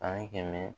Ani kɛmɛ